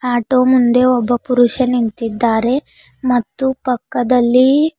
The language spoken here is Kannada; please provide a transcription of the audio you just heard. ಆಟೋ ಮುಂದೆ ಒಬ್ಬ ಪುರುಷ ನಿಂತಿದ್ದಾರೆ ಮತ್ತು ಪಕ್ಕದಲ್ಲಿ--